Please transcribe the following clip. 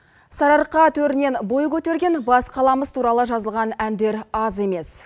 сарыарқа төрінен бой көтерген бас қаламыз туралы жазылған әндер аз емес